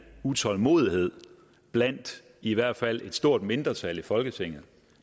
utålmodighed blandt i hvert fald et stort mindretal i folketinget